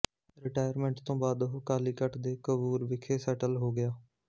retirement ਤੋਂ ਬਾਅਦ ਉਹ ਕਾਲੀਕਟ ਦੇ ਕੋਵੂਰ ਵਿਖੇ ਸੈਟਲ ਹੋ ਗਿਆ